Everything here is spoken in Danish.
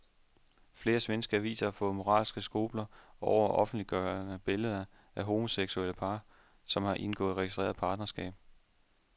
Flere svenske aviser har fået moralske skrupler over at offentliggøre billeder af homoseksuelle par, som har indgået registreret partnerskab.